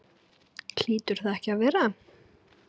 Hlýtur það ekki að vera?